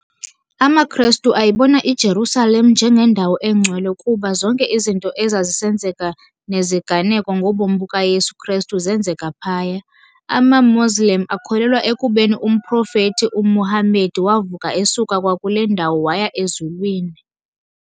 AmaKhrestu ayibona iJerusalem njengendawo eNgcwele kuba zonke izinto ezazisenzeka neziganeko ngobomi bukaYesu Khrestu zeenzeka phaya. AmaMoslem akholelwa ekubeni umProfethi uMuhammad wavuka esuka kwakule ndawo waya ezulwini.